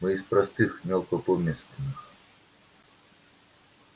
мы из простых мелкопоместных